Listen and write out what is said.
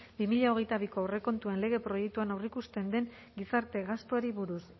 bi mila hogeita biko aurrekontuen lege proiektuan aurreikusten den gizarte gastuari buruz